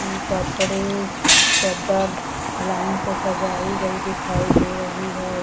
इ कपड़े चदर लाइन से सजाई गई दिखाई दे रही है।